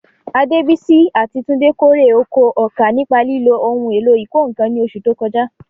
Adebisi àti Tunde kórè oko ọkà nípa lílo ohun èlò ìkọ́ nǹkan ní oṣù tó kọjá.